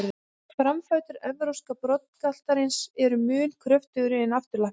Framfætur evrópska broddgaltarins eru mun kröftugri en afturlappirnar.